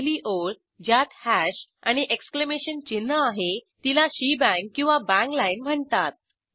पहिली ओळ ज्यात हॅश आणि एक्सक्लेमेशन चिन्ह आहे तिला शेबांग किंवा बांग लाईन म्हणतात